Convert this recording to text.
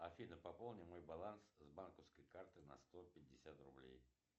афина пополни мой баланс с банковской карты на сто пятьдесят рублей